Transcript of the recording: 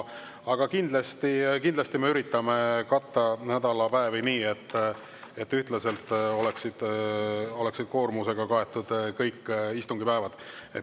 Aga kindlasti me üritame katta nädalapäevi nii, et kõik istungi päevad oleksid ühtlaselt koormusega kaetud.